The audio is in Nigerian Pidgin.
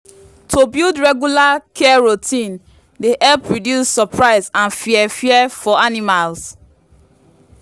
to build regular care routine dey help reduce surprise and fear fear for animals.